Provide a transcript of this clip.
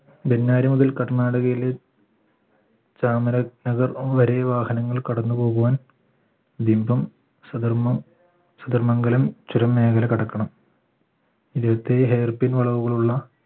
ബെന്നാരി മുതൽ കർണാടകയിലെ ചാമര നഗർ വരെ വാഹനങ്ങൾ കടന്നുപോകുവാൻ ലിംഗം സധർമ്മം സന്ദർ മംഗലം ചുരം മേഖല കടക്കണം ഇരുപത്തേഴ് hair pin വളവുകളുള്ള